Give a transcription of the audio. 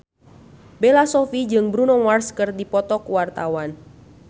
Bella Shofie jeung Bruno Mars keur dipoto ku wartawan